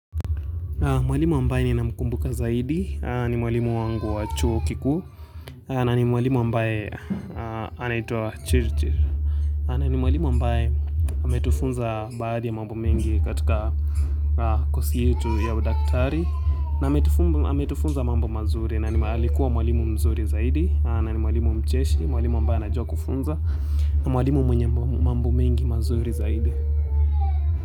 Mwalimu ambaye ninamkumbuka zaidi, ni mwalimu wangu wa chuo kikuu, na ni mwalimu ambaye anaitwa chirchir, na ni mwalimu mbaye ametufunza baadhi ya mambo mengi katika kozi yetu ya udaktari, na ametufunza mambo mazuri, na alikuwa mwalimu mzuri zaidi, na ni mwalimu mcheshi, mwalimu ambae anajua kufunza, na mwalimu mwenye mambo mengi mazuri zaidi.